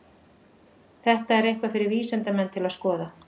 Þetta er eitthvað fyrir vísindamenn til að skoða.